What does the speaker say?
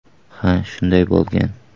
Ha, shunday bo‘lgan.